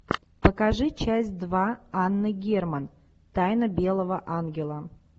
покажи часть два анна герман тайна белого ангела